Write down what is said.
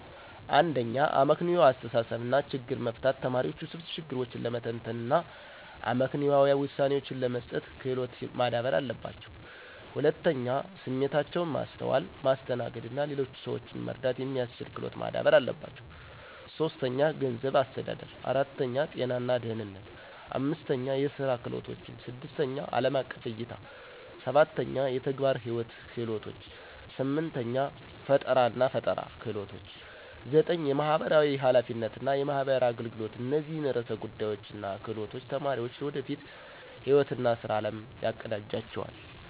1. አመክንዮአዊ አስተሳሰብ እና ችግር መፍታት ተማሪዎች ውስብስብ ችግሮችን ለመተንተን እና አመክንዮአዊ ውሳኔዎችን ለመስጠት ክሎት ማዳበር አለባቸው። 2. ስሜታቸውን ማስተዋል፣ ማስተናገድ እና ሌሎችን ሰዎች መረዳት የሚስችል ክሎት ማዳበር አለባቸው። 3. ገንዘብ አስተዳደር 4. ጤና እና ደህነነት 5. የስራ ክህሎቶችን 6. አለም አቀፍ እይታ 7. የተግባር ህይዎት ክህሎቶች 8. ፈጠራናፈጠራ ክህሎች 9. የማህበራዊ ሐላፊነት እና የማህበራዊ አገልገሎት እነዚህን ዕርሰ ጉዳዮች እና ክህሎቶች ተማሪዎች ለወደፊት ህይዎት እና ስራ አለም ያቀዳጅላቸዋል።